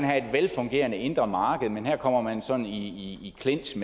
have et velfungerende indre marked men her kommer man så i clinch